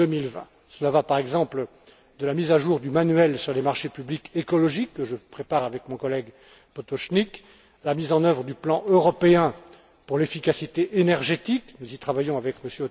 2020. Cela va, par exemple, de la mise à jour du manuel sur les marchés publics écologiques, que je prépare avec mon collègue Potočnik, à la mise en œuvre du plan européen pour l'efficacité énergétique nous y travaillons avec